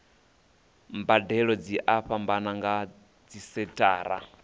mbadelo dzi a fhambana nga dzisenthara